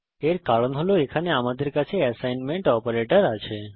এর কারণ এখানে আমাদের কাছে এসাইনমেন্ট অপারেটর আছে